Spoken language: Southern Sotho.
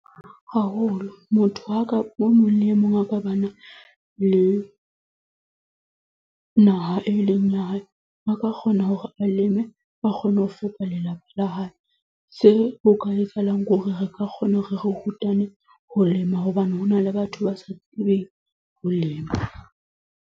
Haholo, motho aka o mong le e mong a ka ba na le naha e leng ya hae a ka kgona hore a leme, ba kgona ho fepa lelapa la hae. Se ho ka lefellang ke hore re ka kgona hore re rutane ho lema hobane hona le batho ba sa tsebeng ho lema